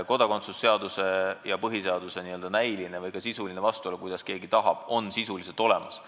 Kodakondsuse seaduse ja põhiseaduse näiline või ka sisuline vastuolu – kuidas keegi arvab – on olemas.